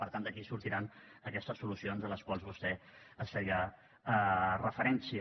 per tant d’aquí sortiran aquestes solucions a les quals vostè feia referència